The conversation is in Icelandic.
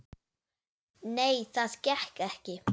Nei, það gekk ekki.